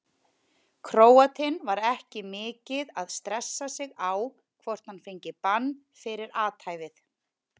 Króatinn var ekki mikið að stressa sig á hvort hann fengi bann fyrir athæfið.